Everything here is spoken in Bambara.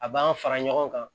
A b'an fara ɲɔgɔn kan